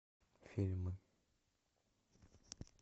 фильмы